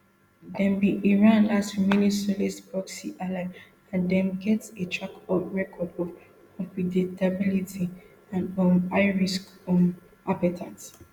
dem be iran last remaining socalled proxy ally and dem get a track record of unpredictability and um high risk um appetite